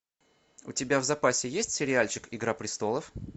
у тебя в запасе есть сериальчик игра престолов